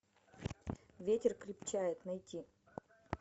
ветер крепчает найти